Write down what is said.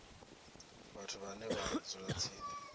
vhathu vhane vha dzula tsini